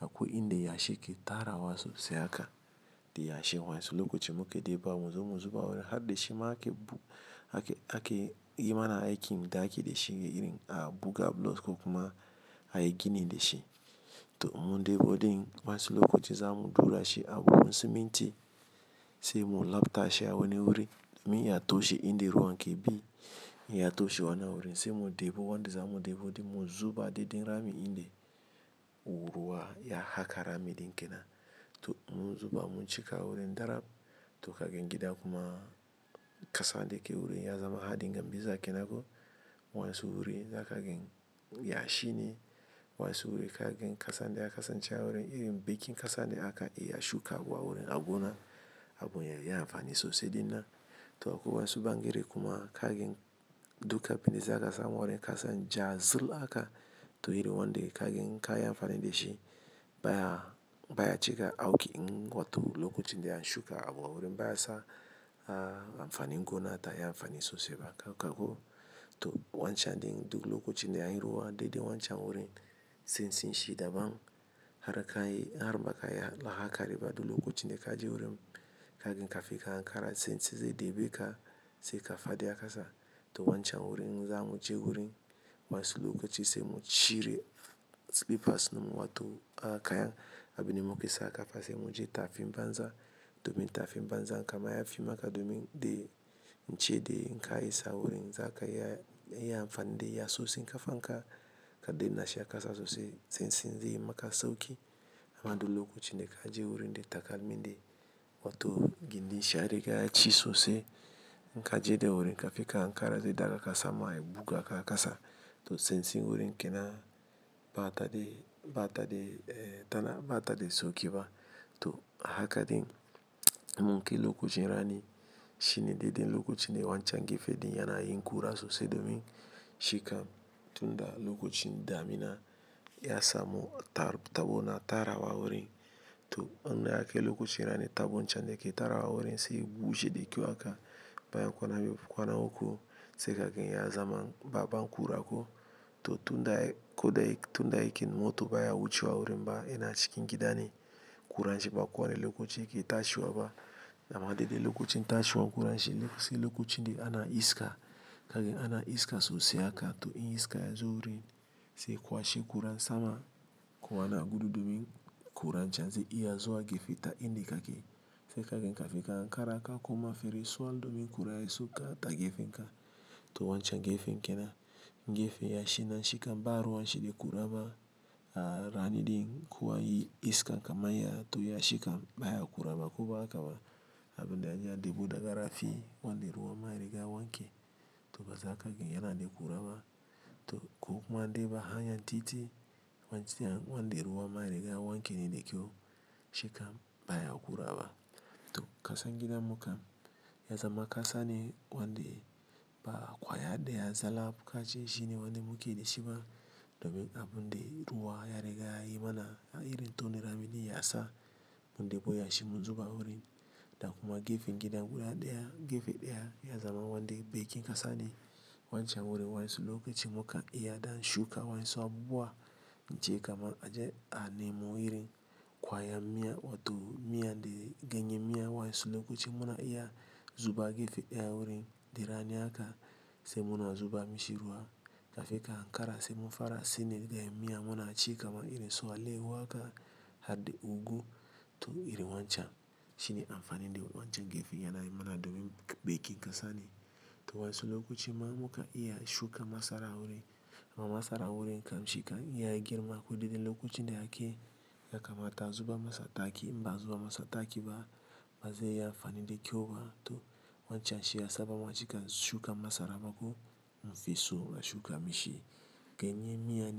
a kwai in da yashi ke tarawa sosai haka da yashi. Wanyansu lokacin muka debawa mu zo mu zuba wurin har da shi ma ake bu, ake, ake, yi mana aikin ɗaki da shi irin a buga block ko kuma a yi gini da shi. To inmun debo in wasu lokacin zamu ɗurashi acikin buhun siminti sai mu labta shi a wani wurin. Min ya toshe in da ruwan ke bi, ya toshe wannan wurin sai mu debo wanda za mu debu din mu zuba daidai rami in da wuruwa ya haka rami din kenan. To in munzuba muncika wurin daram, to kagan gida kuma kasanda ke gurin yazama haɗin gambiza kenan ko wayansu wurin da ka gani yashi ne wayansu wurin ka gani kasan da ya kasance a wurin irin bekin kasan da aka yi a shuka wa wurin agona abin ya yi amfani sosai dinnan. To akwai wayansu. Bangere kuma ka gani duka abinda za ka samu wurin kasan ja zul aka. To iri wanda ka gani ka yi amfani da shi baya, baya cika auki in wato lokacin da an shuka abu a wurin baya sa amfanin gona ta yi amfani sosai ba kako. To wancan din duk lokacin da akayi ruwa, daidai wancan wurin tsantsinshi daban, har idan bakayi a hankali ba duk lokacin da kaje wurin kagan kafin ka ankara tsantsi zai ɗebeka kagan kafadi a kasa to wancan wurin za mu je wurin wancan lokacin sai mu cire silifas in mu wato a kayan abin da muke sa kafa sai mu je tafi banza domin tafi banza kam yafi maka domin dai in ce dai ina ka isa wurin za ka yi amfani da yatsotsin. Ka fanka ka danna shi a kasa sosai tsantsin zaiyi maka sauki. Kuma duk lokacin da kaje wurin da takalminda gindin shi yariga yaci sosai inkaje kafin ka ankara zai ɗagaka sama yabugaka da kasa to tsantsin wurin kenan ba tada, ba tada, tana ba tada sauki ba. To haka din mun ke lokacin rani shine dai dai lokacin wancan gefe din yana yin kura sosai domin shikam. Tun da lokacin damina ya samu tar, tabona tara wa wurin. To an na yake lokacin rani tabon can da ke tara wa wurin sai bushe da kyau haka baya kwana biyu kwana uku sai ka gani ya zama baban kura ko. To tun da, ko dai tun da yake mota baya wucewa wurin ba yana cikin gida ne. Kuran shi ba kowane lokaci yake tashiwa ba. Amma dai dai lokacin tashiwa kuran shi sai lokacin dai ana iska ka gani ana iska sosai haka to in iska yazo wurin sai kwashi kura sama ko ana gudu domin kura can zai iya zuwa gefe ta in da yake. Sai ka gani ka fi ka hankara ka kuma fere suwal domin kura ya sauka ta gefe in ka. To wancan gefen kenan gefe yashi nan shikam babu ruwanshi da kuraba a rani din kuwa anyi iska kaman ya. To ya shikam baya kuraba ko ba haka ba abin da anje andebu da garafi wanda ruwa maye da wanke. To ba za ka gani yana de kuraba. To ko kuma dai ba hanyan titi wancan wanda ruwa maye da wanke ne da ke shika baya kurawa. To kasan gidan mu kam ya zama kasa ne wanda ba kwaya da ya zala kashi shine wanda muke da shi ba domin abun dai ruwa ya riga yi mana irin to na rami ne ya sa mun debu yashi mun zuba wurin. Da kuma gefen gidan guda daya gefe daya ya zama wanda bekin kasa ne. Wancan wurin wayansu lokacin muka iya dam shuka wayansu abubuwa na ce kamar a je a nemo iri kwayan miya wato miyan dai ganye miya wancan lokacin muna iya zuba gefe daya wurin dai rani haka sai muna zuba mai shi ruwa. Ka fi ka hankara sai mun fara sine da ganye miya muna cika kaman irin su alehu haka har da ugwu. To iri wancan shine amfanin dai wancan gefe yana yi mana domin bekin kasa ne. To wayansu lokacin ma muka iya shuka masara wurin amma masara wurin kam shika iya girma ko dai dai lokacin da ake yakamata a zuba masa taki ba a zuba masa taki ba ba sai ya yi amfani da ke ba. To wancan shi ya sa bamu a cika shuka masara ba ko mun fi so a shuka mishi. Ganye miya.